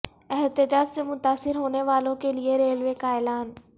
احتجاج سے متاثر ہونے والوں کے لئے ریلوے کا اعلان